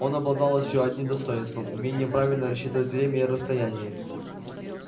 он обладал ещё одним достоинством умением правильно рассчитывать время и расстояние